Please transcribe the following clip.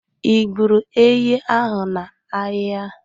Ị gburu ehi ahụ n'ahịa?